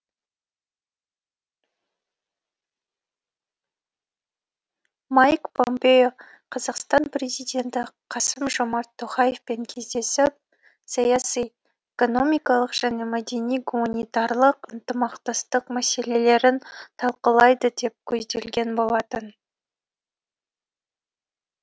майк помпео қазақстан президенті қасым жомарт тоқаевпен кездесіп саяси экономикалық және мәдени гуманитарлық ынтымақтастық мәселелерін талқылайды деп көзделген болатын